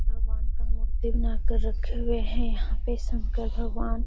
भगवान का मूर्ति बनाकर रखे हुए हैं। यहाँ पे शंकर भगवान.--